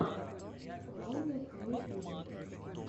вайны в ютюбе